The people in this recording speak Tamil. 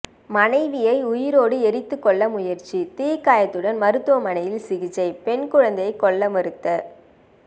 மனைவியை உயிரோடு எரித்துக்கொல்ல முயற்சி தீக்காயத்துடன் மருத்துவமனையில் சிகிச்சை பெண் குழந்தையை கொல்ல மறுத்த